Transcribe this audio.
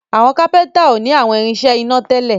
Àwọn kápẹ́ńtà o ní àwọn irinṣẹ́ iná tèlé.